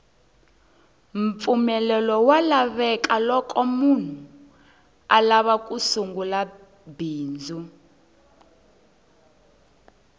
mpfumelelo wa lavekaloko munhu alava ku sungula bindzu